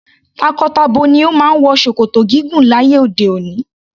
Tako-tabo ni o máa ń wọ ṣòkòtò gígùn láyé òde òni.